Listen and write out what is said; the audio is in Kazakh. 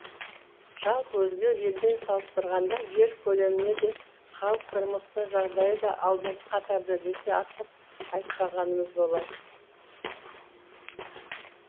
жалпы өзге елмен салыстырғанда жер көлеміне де халық тұрмысының жағдайы да алдыңғы қатарда десе артық айтпағанымыз болар